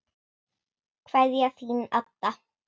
Kveðja, Þín Adda.